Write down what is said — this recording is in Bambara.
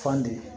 Fande